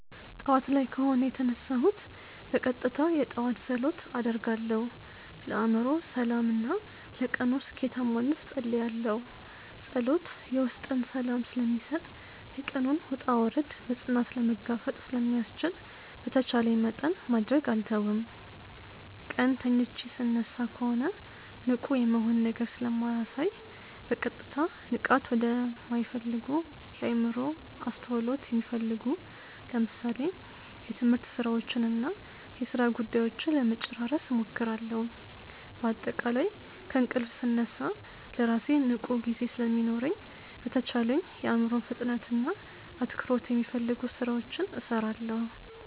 ጠዋት ላይ ከሆነ የተነሳሁት በቀጥታ የጠዋት ጸሎት አደርጋለሁ፣ ለአእምሮ ሰላም እና ለቀኑ ስኬታማነት እጸልያለሁ። ጸሎት የውስጥን ሰላም ስለሚሰጥ፣ የቀኑን ውጣ ውረድ በፅናት ለመጋፈጥ ስለሚያስችል በተቻለኝ መጠን ማድረግ አልተውም። ቀን ተኝቼ ስነሳ ከሆነ ንቁ የመሆን ነገር ስለማሳይ በቀጥታ ንቃት ወደማሚፈልጉ የአዕምሮን አስተውሎት የሚፈልጉ ለምሳሌ የትምህርት ስራዎችንና የሥራ ጉዳዮችን ለመጨራረስ እሞክራለሁ። በአጠቃላይ ከእንቅልፍ ስነሳ ለራሴ ንቁ ጊዜ ስለሚኖረኝ በተቻለኝ የአዕምሮን ፍጥነትና አትኩሮት የሚፈልጉ ስራዎችን እሰራለሁ።